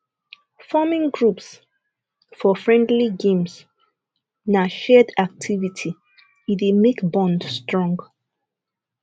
forming groups for friendly games na shared activity e dey make bond strong